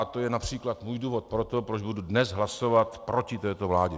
A to je například můj důvod pro to, proč budu dnes hlasovat proti této vládě.